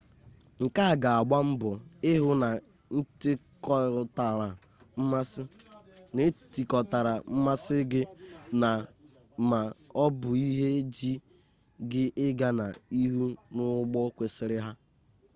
nkea ga agbambo hu n’etikotara mmasi gi na/ma o bu ihe ji gi iga na ihu n’ugbo kwesiri ha